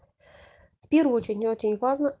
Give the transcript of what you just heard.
первый очень очень важно